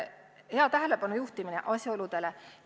Hea tähelepanu juhtimine asjaoludele!